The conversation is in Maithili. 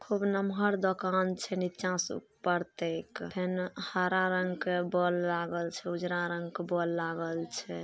खूब नमहर दोकान छै ऊपर से नीचा तेक फेन हरा रंग के बोल लागल छै ऊजरा रंग के बोल लागल छै।